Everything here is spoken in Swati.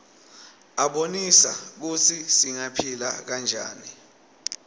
abonisa kutsi singaphila njani